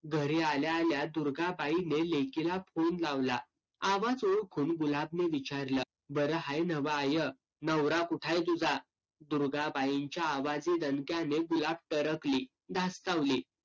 घरी आल्या आल्या दुर्गाबाईने लेकीला phone लावला. आवाज ओळखून गुलाबने विचारलं. बरं हाय नव्हं आय? नवरा कुठाय तुझा? दुर्गाबाईंच्या आवाजी दणक्याने गुलाब टरकली. धस्तावली.